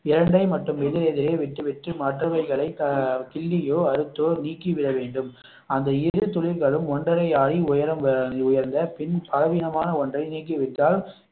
இரண்டை மற்றும் எதிரெதிரே வெட்டிவிட்டு மற்றவைகளை கிள்ளியோ அறுத்தோ நீக்கி விட வேண்டும் அந்த இரு துளிர்களும் ஒன்றரை அடி உயரம் உயர்ந்த பின் பலவீனமான ஒன்றை நீக்கி விட்டால்